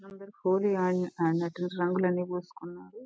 అందరూ హోలీ ఆడినట్టు గా రంగులన్నీ పూసుకున్నారు.